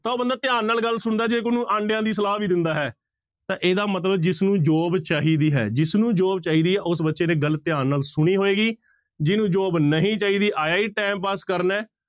ਤਾਂ ਉਹ ਬੰਦਾ ਧਿਆਨ ਨਾਲ ਗੱਲ ਸੁਣਦਾ ਜੇ ਉਹਨੂੰ ਆਂਡਿਆਂ ਦੀ ਸਲਾਹ ਵੀ ਦਿੰਦਾ ਹੈ, ਤਾਂ ਇਹਦਾ ਮਤਲਬ ਜਿਸਨੂੰ job ਚਾਹੀਦੀ ਹੈ ਜਿਸਨੂੰ job ਚਾਹੀਦਾ ਹੈ ਉਸ ਬੱਚੇ ਨੇ ਗੱਲ ਧਿਆਨ ਨਾਲ ਸੁਣੀ ਹੋਏਗੀ, ਜਿਹਨੂੰ job ਨਹੀਂ ਚਾਹੀਦਾ, ਆਇਆ ਹੀ time pass ਕਰਨ ਹੈ